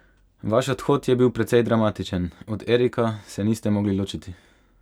Vaš odhod je bil precej dramatičen, od Erika se niste mogli ločiti.